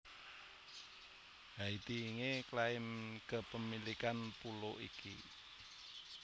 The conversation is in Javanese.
Haiti nge klaim kepemilikan pulo iki